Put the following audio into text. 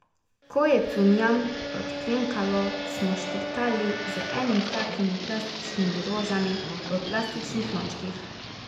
Ko je cunjam odklenkalo, smo štartali z enimi takimi plastičnimi rožami v plastičnih lončkih.